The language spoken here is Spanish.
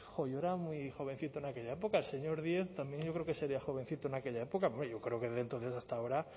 jo yo era muy jovencito en aquella época el señor díez también yo creo que sería jovencito en aquella época yo creo que desde entonces hasta ahora